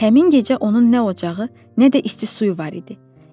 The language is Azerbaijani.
Həmin gecə onun nə ocağı, nə də isti suyu var idi.